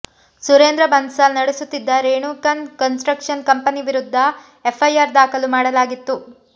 ಸುರೇಂದ್ರ ಬನ್ಸಾಲ್ ನಡೆಸುತ್ತಿದ್ದ Renu construction company ವಿರುದ್ಧ F I R ದಾಖಲು ಮಾಡಲಾಗಿತ್ತು